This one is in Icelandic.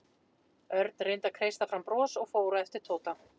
Örn reyndi að kreista fram bros og fór á eftir Tóta.